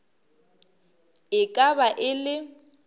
e ka ba e le